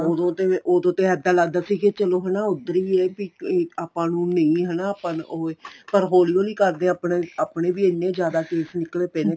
ਉਦੋਂ ਤੇ ਉਦੋਂ ਤੇ ਇੱਦਾਂ ਲੱਗਦਾ ਸੀ ਕੀ ਚਲੋ ਹਨਾ ਉੱਧਰ ਵੀ ਇਹ ਵੀ ਆਪਾਂ ਨੂੰ ਨਹੀਂ ਹਨਾ ਆਪਾਂ ਨੂੰ ਓ ਏ ਤਾਂ ਹੋਲੀ ਹੋਲੀ ਕਰਦੇ ਆਪਣੇ ਆਪਣੇ ਵੀ ਇੰਨੇ ਜਿਆਦਾ case ਨਿਕਲੇ ਪਏ ਨੇ